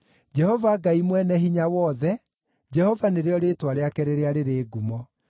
Jehova Ngai Mwene-Hinya-Wothe, Jehova nĩrĩo rĩĩtwa rĩake rĩrĩa rĩrĩ ngumo.